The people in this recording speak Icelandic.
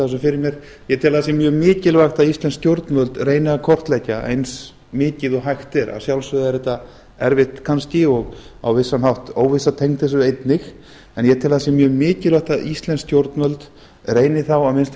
þessu fyrir mér ég tel að það se mjög mikilvægt að íslensk stjórnvöld reyni að kortleggja eins mikið og hægt er að sjálfsögðu er þetta erfitt kannski og á vissan hátt óvissa tengd þessu einnig en ég tel að það sé mjög mikilvægt að íslensk stjórnvöld reyni þá að minnsta kosti